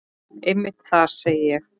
Einmitt það, segi ég.